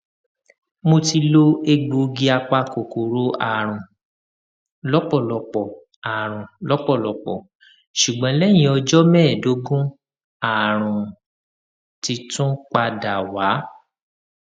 mo ti lo egbòogi apakòkòrò àrùn lọpọlọpọ àrùn lọpọlọpọ ṣùgbọn lẹyìn ọjọ mẹẹẹdógún àrùn uti tún padà wá